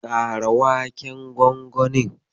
Kara waken gwangwanin.